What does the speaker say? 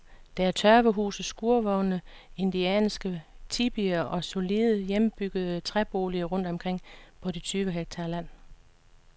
Der er tørvehuse, skurvogne, indianske tipier og solide, hjemmebyggede træboliger rundt omkring på de tyve hektar land.